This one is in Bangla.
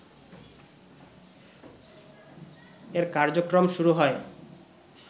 এর কার্যক্রম শুরু হয়